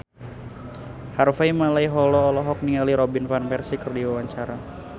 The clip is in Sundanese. Harvey Malaiholo olohok ningali Robin Van Persie keur diwawancara